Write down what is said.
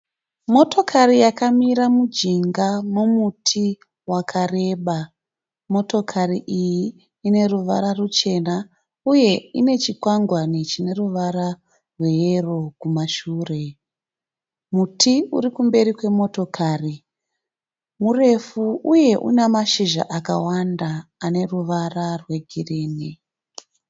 Motokari yakamira mujinga momuti wakareba. Motokari iyi ine ruvara ruchena uye ine chikwangwani chine ruvara rwe yero kumashure . Muti urikumberi kwe motokari murefu uye une mashizha akawanda ane ruvara rwe girinhi.